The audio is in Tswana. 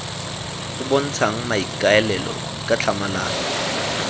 o bontshang maikaelelo ka tlhamalalo